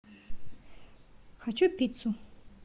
хочу пиццу